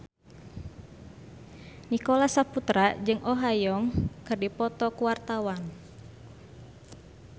Nicholas Saputra jeung Oh Ha Young keur dipoto ku wartawan